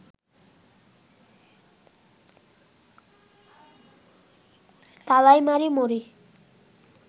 তালাইমারি মোড়ে